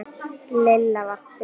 Lilla var þrjósk.